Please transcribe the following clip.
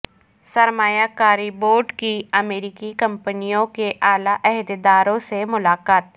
سرمایہ کاری بورڈ کی امریکی کمپنیوں کے اعلی عہدیداروں سے ملاقات